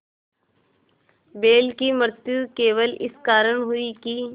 बैल की मृत्यु केवल इस कारण हुई कि